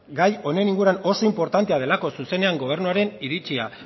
gai honen inguruan oso inportantea delako zuzenean gobernuaren iritzia